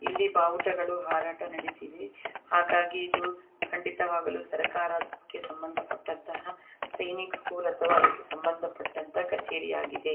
ಇಲ್ಲಿ ಬಾವುಟಗಳು ಹಾರಾಟ ನಡೆಸಿವೆ ಹಾಗಾಗಿ ಖಂಡಿತವಾಗಲು ಸರ್ಕಾರಕ್ಕೆ ಸಮಂದಪಟ್ಟಂತಹ ಸೈನಿಕ್ಸ್ ಸ್ಕೂಲ್ ಅಥವಾ ಸಮಂದಪಟ್ಟಂತ ಕಚೇರಿ ಆಗಿದೆ.